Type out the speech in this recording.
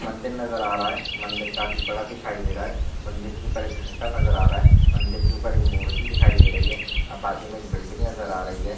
मंदिर नजर आ रहा है। मंदिर काफी बड़ा दिखाई दे रहा है। मंदिर के ऊपर एक घंटा नजर आ रहा है। मंदिर के ऊपर एक मूर्ति दिखाई दे रही है। अ बाजू में एक बिल्डिंग नजर आ रही है।